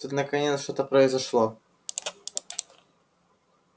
и тут наконец-то что-то произошло